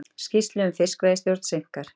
Skýrslu um fiskveiðistjórn seinkar